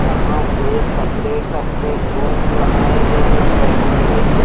यहां पे separate separate room बनाए गए हैं बैठने के लिए।